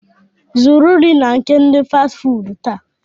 Zụrụ nri na nke ndi Fasti fuudu taa